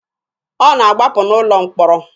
Ọ na-agbapụ n'ụlọ mkpọrọ.